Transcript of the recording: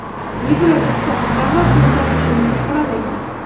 Yevroittifoq davlat to‘ntarishini qoralagan.